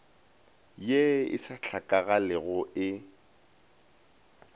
ye e sa hlakagalego e